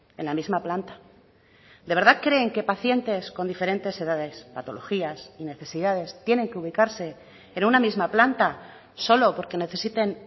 en la misma planta de verdad creen que pacientes con diferentes edades patologías y necesidades tienen que ubicarse en una misma planta solo porque necesiten